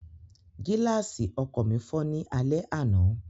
Gíláàsì ọkọ̀ mi fọ́ ní alẹ́ àná